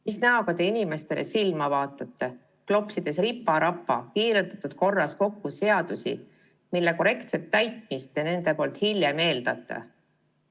Mis näoga te inimestele silma vaatate, klopsides ripa-rapa, kiirendatud korras kokku seadusi, mille korrektset täitmist te nendelt hiljem eeldate?